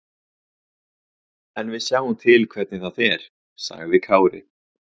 En við sjáum til hvernig það fer, sagði Kári.